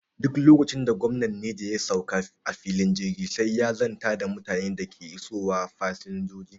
Duk lokacin da gwamnan Neja ya sauka a filin jirgi, sai ya zanta da mutane a dakin isowar fasinjoji.